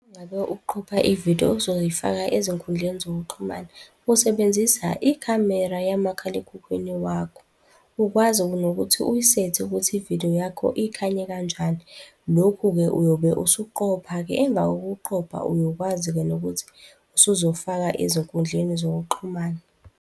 Uma ngabe uqopha i-vidiyo ozoyifaka ezinkundleni zokuxhumana, usebenzisa ikhamera yamakhalekhukhwini wakho ukwazi nokuthi uyisethe ukuthi ividiyo yakho ikhanye kanjani. Lokhu-ke uyobe usuqopha-ke, emva kokuqopha uyokwazi-ke nokuthi usuzofaka ezinkundleni zokuxhumana.